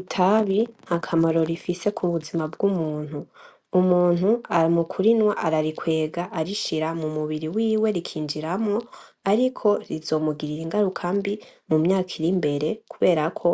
Itabi ntakamaro rifise kubuzima bw'umuntu, Umuntu mukurinywa ararikwega arishira mumubiri wiwe rikinjiramwo ,ariko rizomugirira ingaruka mbi mumyaka irimbere, kuberako